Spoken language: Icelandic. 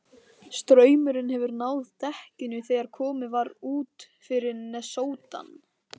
Straumurinn hefur náð dekkinu þegar komið var út fyrir nesoddann.